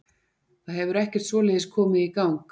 Það hefur ekkert svoleiðis komið í gang.